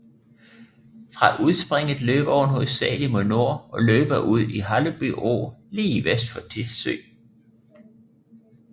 Fra udspringet løber åen hovedsagelig mod nord og løbere ud i Halleby Å lige vest for Tissø